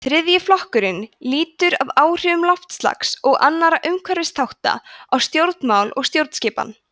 þriðji flokkurinn lýtur að áhrifum loftslags og annarra umhverfisþátta á stjórnmál og stjórnskipan